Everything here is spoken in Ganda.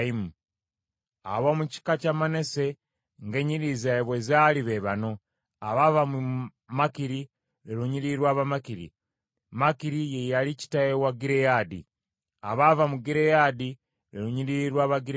Ab’omu kika kya Manase ng’ennyiriri zaabwe bwe zaali be bano: abaava mu Makiri, lwe lunyiriri lw’Abamakiri, Makiri ye yali kitaawe wa Gireyaadi. Abaava mu Gireyaadi, lwe lunyiriri lw’Abagireyaadi.